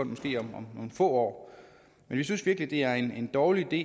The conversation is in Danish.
måske om nogle få år men vi synes virkelig det er en dårlig idé